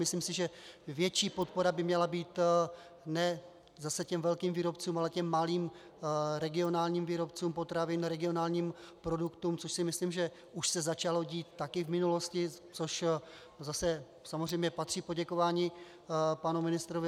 Myslím si, že větší podpora by měla být ne zase těm velkým výrobcům, ale těm malým regionálním výrobcům potravin, regionálním produktům, což si myslím, že už se začalo dít taky v minulosti, což zase samozřejmě patří poděkování panu ministrovi.